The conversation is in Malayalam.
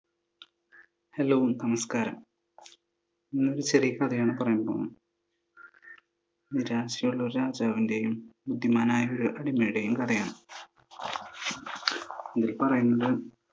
ഹലോ നമസ്കാരം! നമ്മൾ ഇന്നൊരു ചെറിയ കഥയാണ് പറയാൻ പോകുന്നത്. ഒരു രാജ്യമുള്ള ഒരു രാജാവിൻ്റെയും, ബുദ്ധിമാനായ ഒരു അടിമയുടെയും കഥയാണ്. ഇതിൽ പറയുന്നത്.